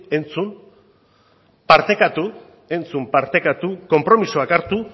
entzun partekatu entzun partekatu konpromisoak hartu